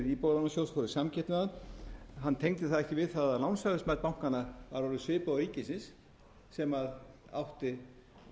í samkeppni við hann hann tengdi það ekki við það að lánshæfismat bankanna var orðið svipað og ríkisins sem átti